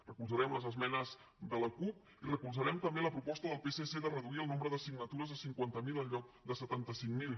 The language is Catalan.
recolzarem les esmenes de la cup i recolzarem també la proposta del psc de reduir el nombre de signatures a cinquanta miler en lloc de setanta cinc mil